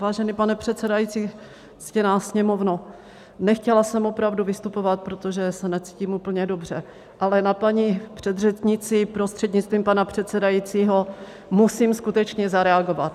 Vážený pane předsedající, ctěná Sněmovno, nechtěla jsem opravdu vystupovat, protože se necítím úplně dobře, ale na paní předřečnici, prostřednictvím pana předsedajícího, musím skutečně zareagovat.